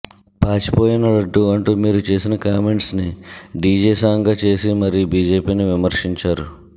పాచిపోయిన లడ్డూ అంటూ మీరు చేసిన కామెంట్స్ని డీజే సాంగ్గా చేసి మరీ బీజేపీని విమర్శించారు